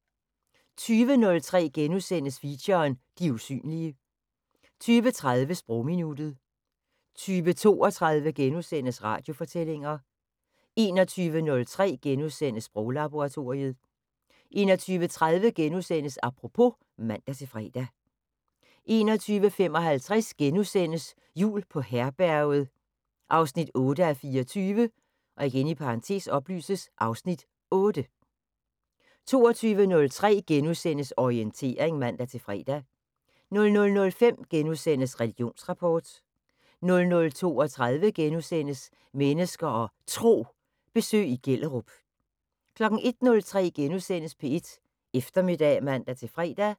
20:03: Feature: De usynlige * 20:30: Sprogminuttet 20:32: Radiofortællinger * 21:03: Sproglaboratoriet * 21:30: Apropos *(man-fre) 21:55: Jul på Herberget 8:24 (Afs. 8)* 22:03: Orientering *(man-fre) 00:05: Religionsrapport * 00:32: Mennesker og Tro: Besøg i Gellerup * 01:03: P1 Eftermiddag *(man-fre)